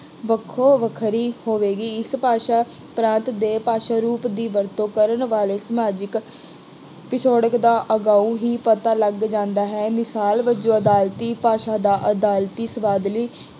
ਵੱਖੋ ਵੱਖਰੀ ਹੋਵੇਗੀ। ਇਸ ਭਾਸ਼ਾ ਪ੍ਰਾਂਤ ਦੇ ਭਾਸ਼ਾ ਰੂਪ ਦੀ ਵਰਤੋਂ ਕਰਨ ਵਾਲੇ ਸਮਾਜਿਕ ਪਿਛੋਕੜ ਦਾ ਅਗਾਊਂ ਹੀ ਪਤਾ ਲੱਗ ਜਾਂਦਾ ਹੈ ਮਿਸਾਲ ਵਜੋਂ ਅਦਾਲਤੀ ਭਾਸ਼ਾ ਦਾ ਅਦਾਲਤੀ ਸ਼ਬਦਾਵਲੀ